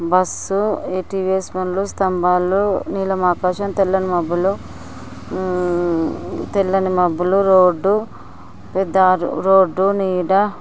bus స్తంబాలు నీలని ఆకాశం తెల్లని మబ్బులు ఉమ్ తెల్లని మబ్బులు రోడ్డు రోడ్డు నీడ--